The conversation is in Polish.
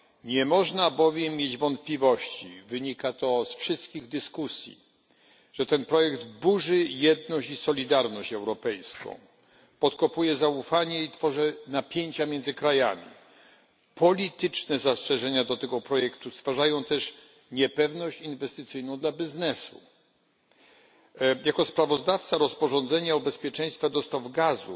Nie można bowiem mieć wątpliwości wynika to z wszystkich dyskusji że ten projekt burzy jedność i solidarność europejską, podkopuje zaufanie i tworzy napięcia między krajami. Polityczne zastrzeżenia do tego projektu stwarzają też niepewność inwestycyjną dla biznesu. Jako sprawozdawca rozporządzenia o bezpieczeństwie dostaw gazu